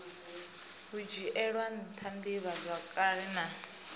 hu dzhielwe ntha divhazwakale na